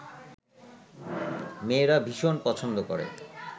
মেয়েরা ভীষণ পছন্দ করে